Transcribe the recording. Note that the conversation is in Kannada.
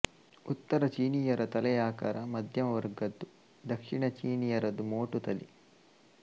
ಉತ್ತರ ಚೀನೀಯರ ತಲೆಯ ಆಕಾರ ಮಧ್ಯಮವರ್ಗದ್ದು ದಕ್ಷಿಣ ಚೀನಿಯರದು ಮೋಟು ತಲೆ